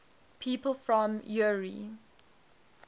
people from eure